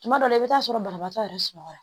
Tuma dɔw la i bɛ taa sɔrɔ banabaatɔ yɛrɛ sunɔgɔ la